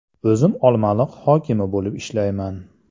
O‘zim Olmaliq hokimi bo‘lib ishlayman.